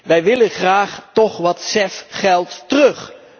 Wij willen graag toch wat CEF geld terug.